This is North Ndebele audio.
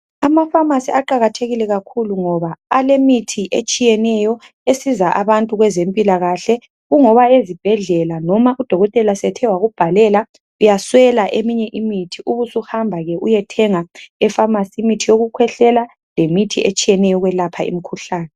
Amapharmacy aqakathekike kakhulu, ngoba alemithi etshiyeneyo. Esiza abantu kwezempilakahle. Kungoba ezibhedlela noma udokotela esethe wakubhalela, uyaswela eminye imithi. Ubusuhamba ke uyethenga epharmacy imithi yokukhwehlela. Leminye etshiyeneyo, yokwelapha imikhuhlane.